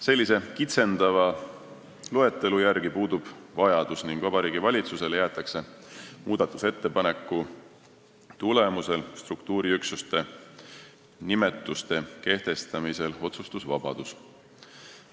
Sellise kitsendava loetelu järgi puudub vajadus ning Vabariigi Valitsusele jäetakse muudatusettepaneku tulemusel struktuuriüksuste nimetuste kehtestamisel otsustusvabadus.